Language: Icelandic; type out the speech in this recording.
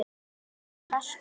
Amma var hress kona.